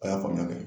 A y'a faamuya de